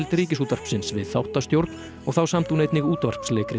Ríkisútvarpsins við þáttastjórn og þá samdi hún einnig útvarpsleikrit